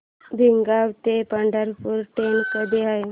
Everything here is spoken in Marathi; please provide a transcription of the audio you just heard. भिगवण ते पंढरपूर ट्रेन कधी आहे